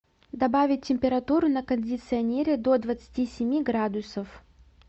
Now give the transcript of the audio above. добавить температуру на кондиционере до двадцати семи градусов